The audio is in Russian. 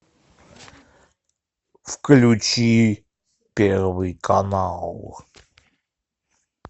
включи первый канал